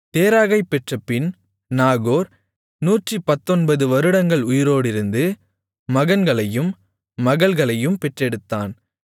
தேராகைப் பெற்றபின் நாகோர் 119 வருடங்கள் உயிரோடிருந்து மகன்களையும் மகள்களையும் பெற்றெடுத்தான்